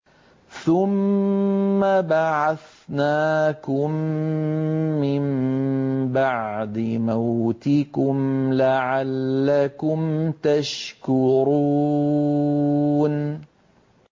ثُمَّ بَعَثْنَاكُم مِّن بَعْدِ مَوْتِكُمْ لَعَلَّكُمْ تَشْكُرُونَ